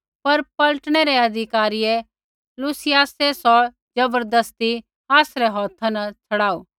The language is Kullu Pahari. पर पलटनै रै अधिकारी लूसियासै सौ ज़बरदस्ती आसरै हौथा न छ़ड़ाऊ